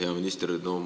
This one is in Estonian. Hea minister!